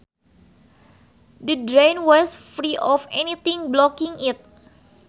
The drain was free of anything blocking it